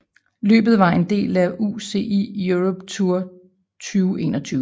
Løbet var en del af UCI Europe Tour 2021